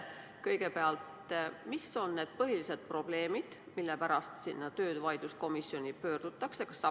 Kõigepealt, mis on põhilised probleemid, mille pärast töövaidluskomisjoni pöördutakse?